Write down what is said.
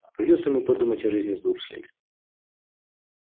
придётся ему подумать о жизни с дурслями